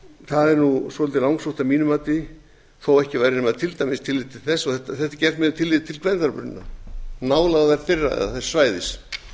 það er svolítið langsótt að mínu mati þó ekki væri nema tilliti til þess og þetta er gert með tilliti til gvendarbrunna nálægðar þeirra eða þess svæðis